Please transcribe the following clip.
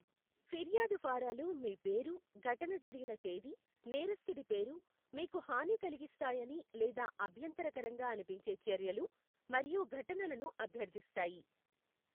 ఫిర్యాదు ఫారాలు మీ పేరు, ఘటన జరిగిన తేదీ, నేరస్థుడి పేరు, మీకు హాని కలిగిస్తాయని లేదా అభ్యంతరకరంగా అనిపించే చర్యలు మరియు ఘటనలను అభ్యర్థిస్తాయి.